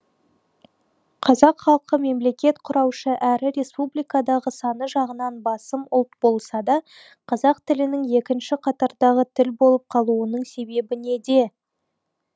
қазақ халқы мемлекет құраушы әрі республикадағы саны жағынан басым ұлт болса да қазақ тілінің екінші қатардағы тіл болып қалуының себебі неде